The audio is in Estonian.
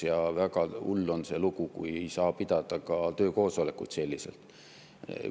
Ja väga hull on, kui ei saa pidada ka töökoosolekuid.